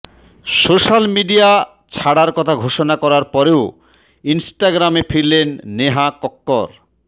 social media ছাড়ার কথা ঘোষণা করার পরেও ইনস্টাগ্রামে ফিরলেন নেহা কক্কর